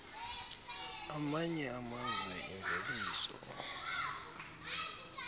amanye amazwe imveliso